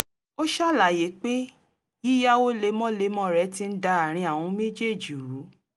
ó ṣàlàyé pé yíyáwó lemọ́lemọ́ rẹ̀ ti ń da àárín àwọn méjèèjì rú